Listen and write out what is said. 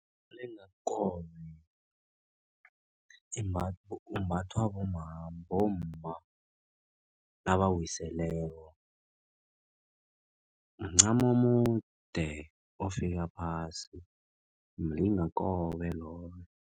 Umlingakobe umbathwa bomma nabawiseleko mncamo omude ofika phasi mlingakobe loyo.